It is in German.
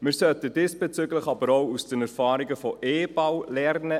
Wir sollten diesbezüglich, aber auch aus den Erfahrungen von «eBau» lernen.